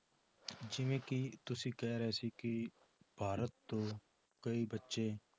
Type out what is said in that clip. ਜਿਵੇਂ ਕਿ ਤੁਸੀਂ ਕਹਿ ਰਹੇ ਸੀ ਕਿ ਭਾਰਤ ਤੋਂ ਕਈ ਬੱਚੇ